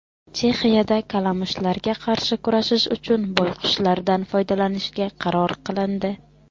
Chexiyada kalamushlarga qarshi kurashish uchun boyqushlardan foydalanishga qaror qilindi.